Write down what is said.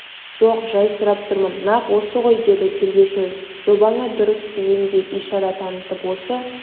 жоқ жай сұрап тұрмын нақ осы ғой деді тергеуші жобаңы дұрыс деген ишара танытып осы